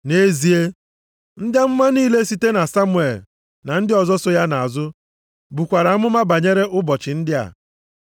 “Nʼezie ndị amụma niile site na Samuel na ndị ọzọ so ya nʼazụ, bukwara amụma banyere ụbọchị ndị a.